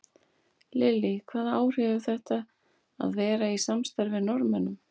Lillý: Hvaða áhrif hefur þetta að vera í samstarfi með Norðmönnum?